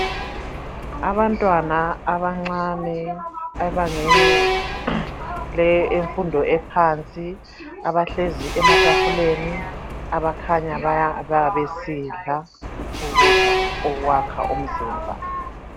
abantwana abancane abangenele imfundo ephansi abahlezi ematafuleni abakhanya besidla ukudla okwakha imizimba